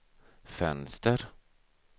fönster